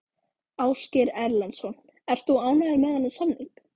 Ásgeir Erlendsson: Ert þú ánægður með þennan samning?